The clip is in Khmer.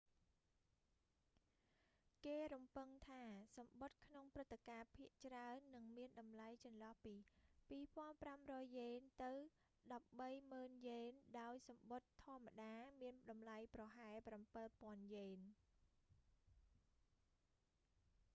គេរំពឹងថាសំបុត្រក្នុងព្រឹត្តិការណ៍ភាគច្រើន នឹងមានតម្លៃចន្លោះពី 2,500 យ៉េនទៅ 130,000 យ៉េន ដោយសំបុត្រធម្មតា មានតម្លៃប្រហែល 7,000 យ៉េន